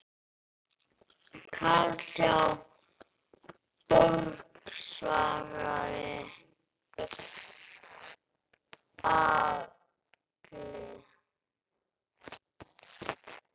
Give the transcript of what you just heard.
Karl hjá Borg svaraði Agli.